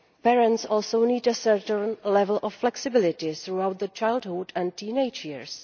Parents also need a certain level of flexibility throughout the childhood and teenage years.